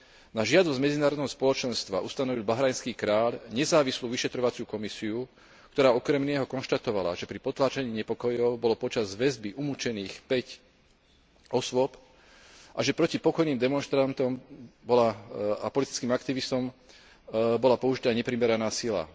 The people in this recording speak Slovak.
Na žiadosť medzinárodného spoločenstva ustanovil bahrajnský kráľ nezávislú vyšetrovaciu komisiu, ktorá okrem iného konštatovala, že pri potláčaní nepokojov bolo počas väzby umučených päť osôb a že proti pokojným demonštrantom a politickým aktivistom bola použitá neprimeraná sila.